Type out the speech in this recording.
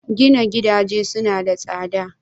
Gina gidaje suna da tsada?